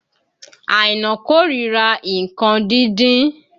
Àìná kó ríra nǹkan kíkan